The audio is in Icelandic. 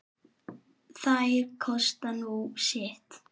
Þær kosta nú sitt.